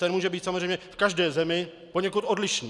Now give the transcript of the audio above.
Ten může být samozřejmě v každé zemi poněkud odlišný.